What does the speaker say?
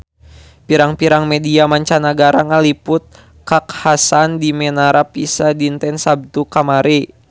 Pirang-pirang media mancanagara ngaliput kakhasan di Menara Pisa dinten Saptu kamari